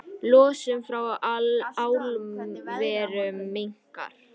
Losun frá álverum minnkar